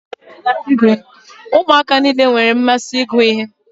Ụmụaka niile n'enwe mmasị ịgụ ihe.